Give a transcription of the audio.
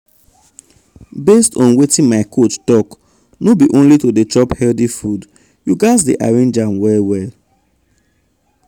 based on wetin my coach talk no be only to dey chop healthy food you gas dey arrange am well well.